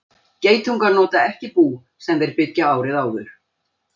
Geitungar nota ekki bú sem þeir byggðu árið áður.